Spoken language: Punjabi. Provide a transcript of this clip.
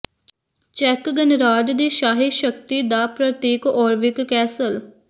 ਚੈੱਕ ਗਣਰਾਜ ਦੀ ਸ਼ਾਹੀ ਸ਼ਕਤੀ ਦਾ ਪ੍ਰਤੀਕ ਔਰਵਿਕ ਕੈਸਲ